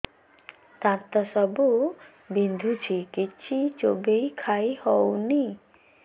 ଦାନ୍ତ ସବୁ ବିନ୍ଧୁଛି କିଛି ଚୋବେଇ ଖାଇ ହଉନି